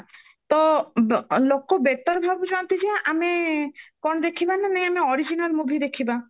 ତ ଲୋକ better ଭାବୁଚନ୍ତି ଯେ ଆମେ କଣ ଦେଖିବା ନା ନାଇଁ ଆମେ original movie ଦେଖିବା